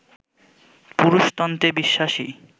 পুরুষতন্ত্রে বিশ্বাসী